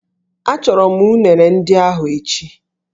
Achọrọ m unere ndị ahụ echi